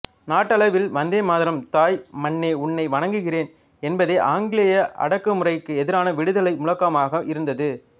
நாட்டளவில் வந்தே மாதரம் தாய் மண்ணே உன்னை வணங்குகிறேன் என்பதே ஆங்கிலேய அடக்குமுறைக்கு எதிரான விடுதலை முழக்கமாக இருந்தது